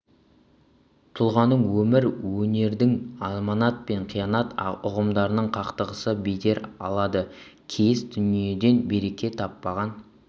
тұлғаның өмір мен өнердің аманат пен қиянат ұғымдарының қақтығысы бедер алады кейіс дүниеден береке таппаған